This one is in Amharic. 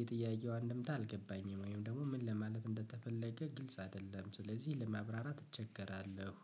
የጥያቄው አንድምታ አልገባኝም። ወይም ደግሞ ምን ለማለት እንደተፈለገ ግልጽ አይደለም። ስለዚህ ለማብራራት እቸገራለሁ።